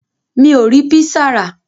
Mi ò rí písà rà.